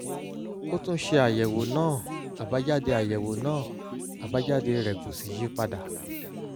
ó tún ṣe àyẹ̀wò náà àbájáde àyẹ̀wò náà àbájáde rẹ̀ kò sì yí padà